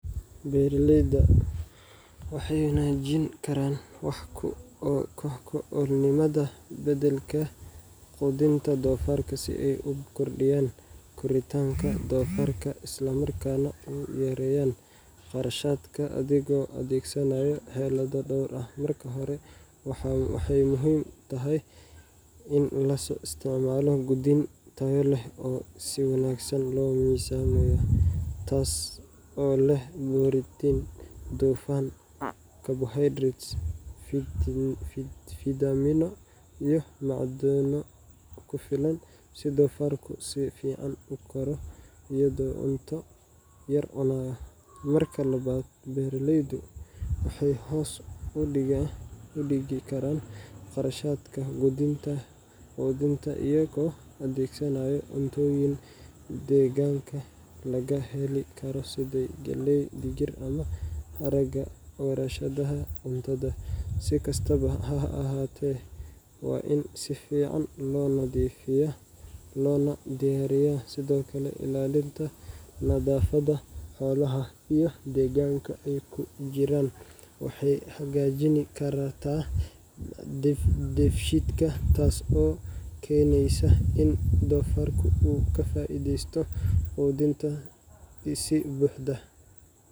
Beeralaydu waxay wanaajin karaan wax ku oolnimada beddelka quudinta doofarka si ay u kordhiyaan koritaanka doofarka isla markaana u yareeyaan kharashaadka adigoo adeegsanaya xeelado dhowr ah. Marka hore, waxay muhiim tahay in la isticmaalo quudin tayo leh oo si wanaagsan loo miisaamay, taas oo leh borotiin, dufan, carbohydrates, fiitamiino iyo macdano ku filan si doofarku si fiican u koro iyadoo uu cunto yar cunayo. Marka labaad, beeraleydu waxay hoos u dhigi karaan kharashaadka quudinta iyagoo adeegsanaya cuntooyin deegaanka laga heli karo sida galley, digir, ama haraaga warshadaha cuntada, si kastaba ha ahaatee waa in si fiican loo nadiifiyaa loona diyaariyaa. Sidoo kale, ilaalinta nadaafadda xoolaha iyo deegaanka ay ku jiraan waxay hagaajin kartaa dheefshiidka, taas oo keenaysa in doofarku uu ka faa’iideysto quudinta si buuxda.